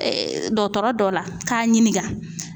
dɔtɔrɔ dɔ la k'a ɲininka.